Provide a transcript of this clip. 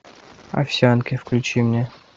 овсянки включи мне